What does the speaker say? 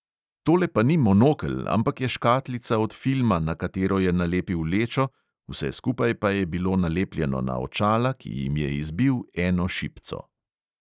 Tole pa ni monokel, ampak je škatlica od filma, na katero je nalepil lečo, vse skupaj pa je bilo nalepljeno na očala, ki jim je izbil eno šipco.